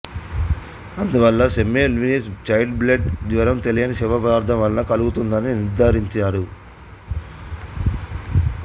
అందువల్ల Semmelweis child bed జ్వరం తెలియని శవ పదార్థం వలన కలుగుతుందని నిర్ధారించాడు